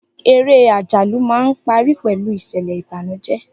Eré àjálù máa ń parí pẹ̀lú ìṣẹ̀lẹ̀ Ìbànújẹ́